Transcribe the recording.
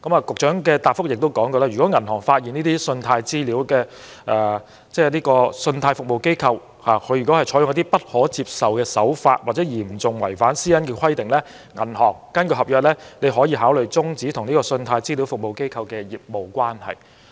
局長的答覆亦指出，如果銀行發現這些信貸資料服務機構採取一些不可接受或嚴重違反私隱規定的手法，可根據合約考慮終止與信貸資料服務機構的業務關係。